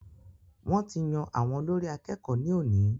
Wọ́n ti yan àwọn olórí àkẹ́kọ̀ọ ní òní.